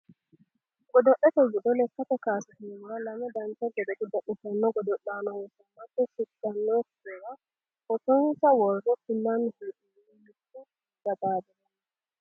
godo'lete giddo lekkate kaase heewora lame dancha gede godo'litanno godo'laano heewisamate shiqqanootera footonsa worre kullanni hee'noonni mittu anga xaaxire no